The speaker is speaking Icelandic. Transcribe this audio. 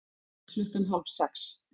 Klukkan hálf sex